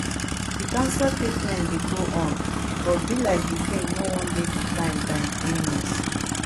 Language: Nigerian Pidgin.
di cancer treatment dey go on but be like di king no wan dey defined by im illness